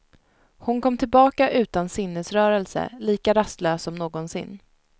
Hon kom tillbaka utan sinnesrörelse, lika rastlös som någonsin.